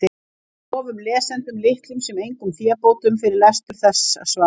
Við lofum lesendum litlum sem engum fébótum fyrir lestur þessa svars.